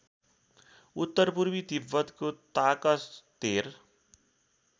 उत्तरपूर्वी तिब्बतको ताकस्तेर